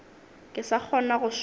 ke sa kgona go šoma